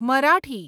Marathi